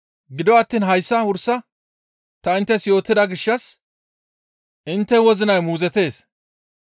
Gido attiin hayssa wursa ta inttes yootida gishshas intte wozinay muuzottees.